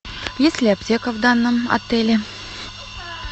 есть ли аптека в данном отеле